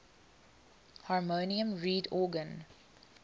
harmonium reed organ